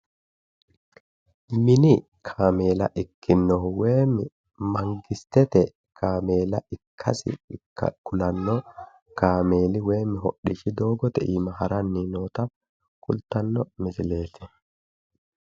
Mini kaameela ikkinohu woyim mangistete kaameela ikkasi kulanno kameeli woyim hodhishshi doogote iima haranni noota kultanno misileeti.